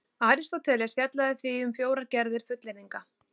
Aristóteles fjallaði því um fjórar gerðir fullyrðinga: